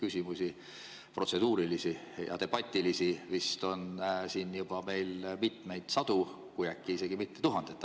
Neid protseduurilisi ja debatilisi küsimusi on meil siin vist juba mitmeid sadu, kui äkki isegi mitte tuhandet.